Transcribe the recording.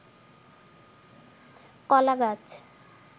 কলা গাছ